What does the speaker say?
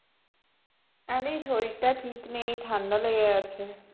আরে শরীরটা ঠিক নেই ঠান্ডা লেগে গেছে